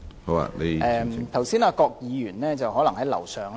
剛才我發言時，郭家麒議員可能在樓上。